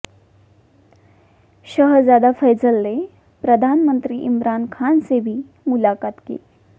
शहजादा Faisal ने प्रधानमंत्री इमरान खान से भी मुलाकात की